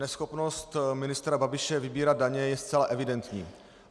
Neschopnost ministra Babiše vybírat daně je zcela evidentní.